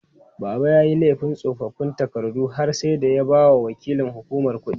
Baba yayi laifin tsofaffin takardu har sai da ya bawa waƙilan hukumar kuɗi.